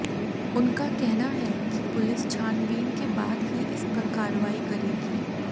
उनका कहना है कि पुलिस छानबीन के बाद ही इस पर कार्रवाई करेगी